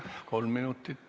Kolm minutit.